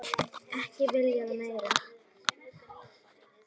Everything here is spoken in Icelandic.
Ekki viljað meira.